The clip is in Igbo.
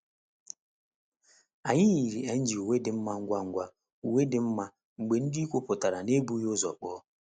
Anyị yiri ng uwe dimma ngwa ngwa uwe ndimma mgbe ndị ikwu pụtara n'ebughị ụzọ kpọọ